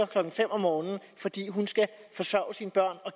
klokken fem om morgenen fordi hun skal forsørge sine børn og